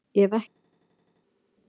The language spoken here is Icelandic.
Ég hef ekki sagt það!